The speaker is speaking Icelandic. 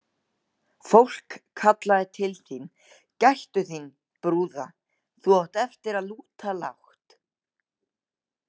Fólk kallaði til þín: Gættu þín, brúða, þú átt eftir að lúta lágt.